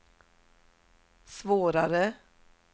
svårare